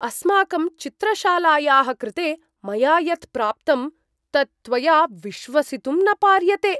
अस्माकं चित्रशालायाः कृते मया यत् प्राप्तं तत् त्वया विश्वसितुं न पार्यते!